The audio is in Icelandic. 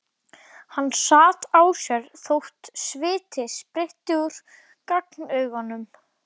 Hann sat á sér þótt sviti sprytti út á gagnaugunum.